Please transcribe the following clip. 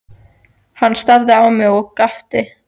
Hann starði á mig og gapti.